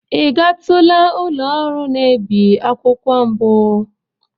Ị gatula ụlọ ọrụ na-ebi akwụkwọ mbụ?